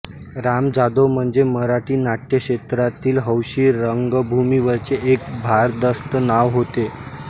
राम जाधव म्हणजे मराठी नाट्यक्षेत्रातील हौशी रंगभूमीवरचे एक भारदस्त नाव होते